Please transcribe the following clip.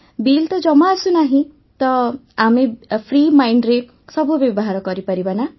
bill ତ ଜମା ଆସୁନାହିଁ ତ ଆମେ ଫ୍ରି ମାଇଣ୍ଡରେ ସବୁ ବ୍ୟବହାର କରିପାରିବା ନା